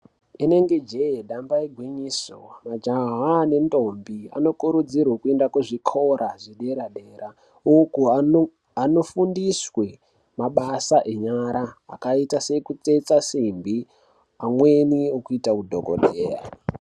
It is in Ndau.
Inenge jee damba igwinyiso majaha nendombi anokurudzirwe kuende kuzvikora zvedera dera uku ano anofundiswe mabasa enyara akaita sekutsetsa simbi amweni ekuita udhokodheya.